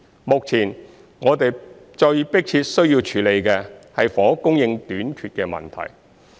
目前，我們最迫切需要處理的是房屋供應短缺的問題。